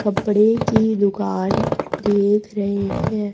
कपड़े की दुकान देख रहे है।